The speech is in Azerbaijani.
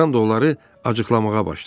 Ram da onları acıqlamağa başladı.